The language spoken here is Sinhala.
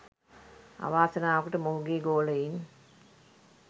අවාසනාවකට මොහුගේ ගෝලයින්